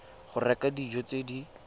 go reka dijo tse di